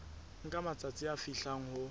nka matsatsi a fihlang ho